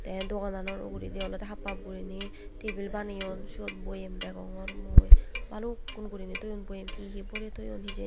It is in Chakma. tey dogana nor uguredi olodey haphap guriney tebil baniyon sot boyem degongor mui balukkun guriney doyon boyem hi hi borey toyon hijen.